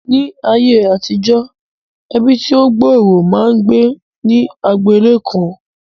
Ní ayé àtijọ́, ẹbí tí ó gbòòrò máa ń gbé ní agbo ilé kan